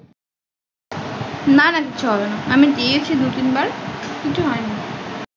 না না কিছু হবে না আমি দেয়াছি দু তিন বার